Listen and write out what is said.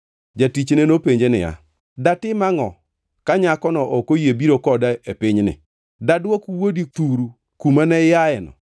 Jatichne nopenje niya, “Datim angʼo ka nyakono ok oyie biro koda e pinyni? Dadwok wuodi thuru kumane iayeno?”